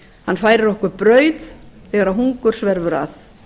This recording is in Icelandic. hann færir okkur brauð þegar hungur sverfur að